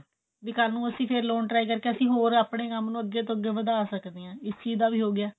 ਵੀ ਕੱਲ ਨੂੰ ਅਸੀਂ ਫੇਰ loan try ਕਰਕੇ ਅਸੀਂ ਹੋਰ ਆਪਨੇ ਕੰਮ ਨੂੰ ਅੱਗੇ ਤੋਂ ਅਗੀ ਵਧਾ ਸਕਦੇ ਹਾਂ ਇਸ ਚੀਜ ਦਾ ਵੀ ਹੋ ਗਿਆ